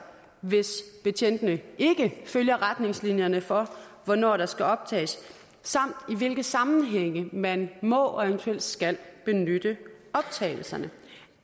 hvis betjentene ikke følger retningslinjerne for hvornår der skal optages samt i hvilke sammenhænge man må og eventuelt skal benytte optagelserne